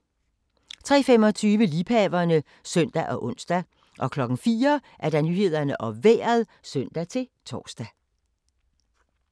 03:25: Liebhaverne (søn og ons) 04:00: Nyhederne og Vejret (søn-tor)